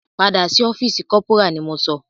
Padà sí ọ́fìsì corporal ni mo sọ!